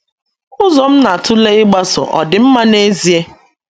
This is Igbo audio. Ụzọ m na - atụle ịgbaso ọ̀ dị mma n’ezie?